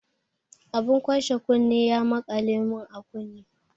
Abun kwashe kunne ya maƙale mun a kunne.